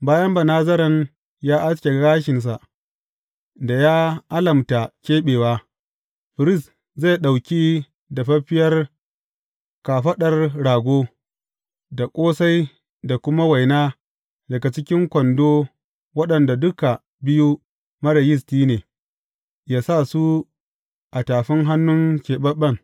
Bayan Banazaren ya aske gashinsa da ya alamta keɓewa, firist zai ɗauki dafaffiyar kafaɗar rago, da ƙosai da kuma waina daga cikin kwando waɗanda duka biyu marar yisti ne, yă sa su a tafin hannun keɓaɓɓen.